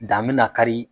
Dan me na kari